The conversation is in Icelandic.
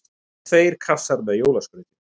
Tveir kassar með jólaskrauti.